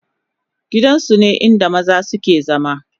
gidan su ne inda maza su ke zama